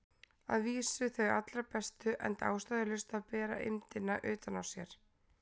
Að vísu þau allra bestu, enda ástæðulaust að bera eymdina utan á sér.